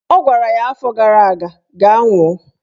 Ọ gwara ya afọ gara aga "Gaa nwụọ!